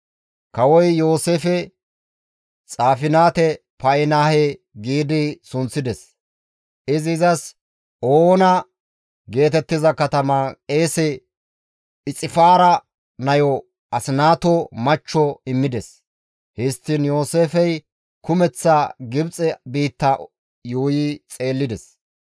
Kawoy Yooseefe, «Xaafinaate-Pa7inaahe» gi sunththides; izi izas Oona geetettiza katama qeese Phixifaara nayo Asinaato machcho immides. Histtiin Yooseefey kumeththa Gibxe biittaa yuuyi xeellides.